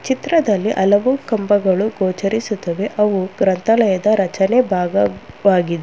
ಚಿತ್ರದಲ್ಲಿ ಹಲವು ಕಂಬಗಳ ಗೋಚರಿಸುತ್ತದೆ ಅವು ಗ್ರಂಥಾಲಯದ ರಚನೆ ಭಾಗವಾಗಿದೆ.